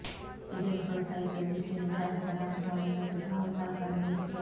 ಇದನ್ನು ಪ್ರೋತ್ಸಾಹಿಸುವ ದೃಷ್ಟಿಯಿಂದ ಶಾಸಕ ರಾಮಸ್ವಾಮಿ ಮತ್ತು ತಾವು ಸಹಕಾರ ನೀಡುತ್ತೇವೆ